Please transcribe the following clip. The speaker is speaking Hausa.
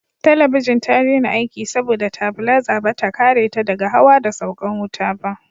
Talabijin ta daina aiki saboda tabilaza bata kare ta daga hawa da saukan wuta ba